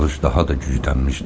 Yağış daha da güclənmişdi.